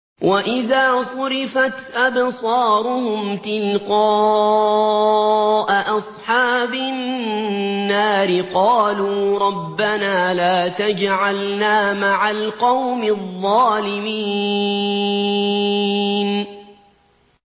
۞ وَإِذَا صُرِفَتْ أَبْصَارُهُمْ تِلْقَاءَ أَصْحَابِ النَّارِ قَالُوا رَبَّنَا لَا تَجْعَلْنَا مَعَ الْقَوْمِ الظَّالِمِينَ